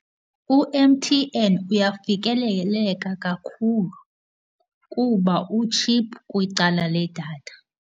U-M_T_N uyafikeleleka kakhulu kuba utshiphu kwicala ledatha.